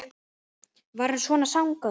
Var hann svona svangur?